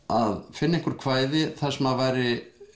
að finna einhver kvæði þar sem væri